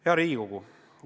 Hea Riigikogu!